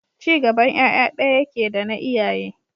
Ci gaban ƴaƴa ɗaya yake dana iyaye.